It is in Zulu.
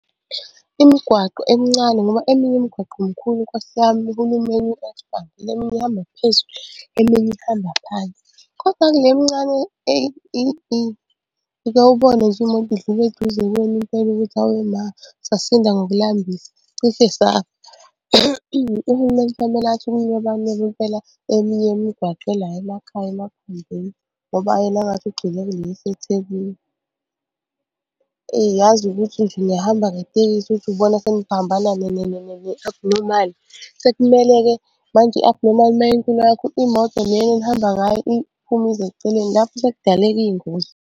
Imigwaqo emncane ngoba eminye imigwaqo mkhulu nkosi yami uhulumeni eminye ihamba phansi, koda kule emncane uke ubone imoto idlula eduze kwenu impela ukuthi awe ma sasinda ngokulambisa cishe safa. Uhulumeni kufanele athi ukuyinweba nweba impela eminye yemigwaqo ela emakhaya ngoba yena engathi ugxile kule eseThekwini. Eyi yazi ukuthi nje nihamba ngetekisi uthi ubona seniphambana ne-Abnormal. Sekumele-ke manje i-Abnormal uma inkulu kakhulu, imoto le yenu enihamba ngayo iphume ize eceleni, lapho sekudalela iy'ngozi.